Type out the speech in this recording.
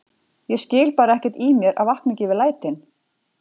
Ég skil bara ekkert í mér að vakna ekki við lætin